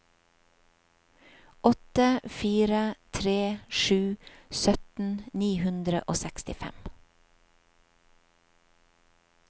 åtte fire tre sju sytten ni hundre og sekstifem